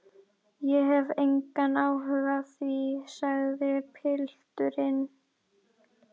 Ég hef engan áhuga á því, segir pilturinn.